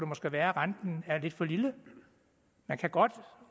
måske være at renten er lidt for lille man kan godt